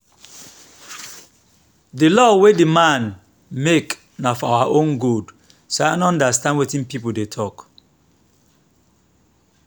the law wey the man make na for our own good so i no understand wetin people dey talk